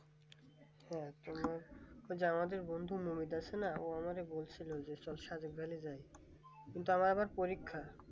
হ্যাঁ যা আমাদের বন্ধু মিনি দর্শনে আমাকে বলছিলো চ সাগর ভ্যালি যাই কি আমার পরীক্ষা